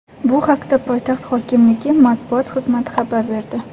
Bu haqda poytaxt hokimligi matbuot xizmati xabar berdi .